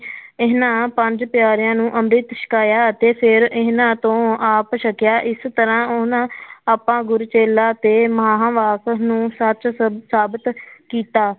ਇਹਨਾਂ ਪੰਜ ਪਿਆਰਿਆਂ ਨੂੰ ਅੰਮ੍ਰਿਤ ਛਕਾਇਆ ਅਤੇ ਫਿਰ ਇਹਨਾਂ ਤੋਂ ਆਪ ਛਕਿਆ, ਇਸ ਤਰ੍ਹਾਂ ਉਹਨਾਂ ਆਪਾਂ ਗੁਰਚੇਲਾ ਤੇ ਸੱਚ ਸ~ ਸਾਬਿਤ ਕੀਤਾ।